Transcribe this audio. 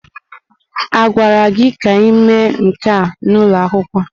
A gwara gị ka ị mee nke a n'ụlọ akwụkwọ?